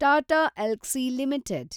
Tata Elxsi limited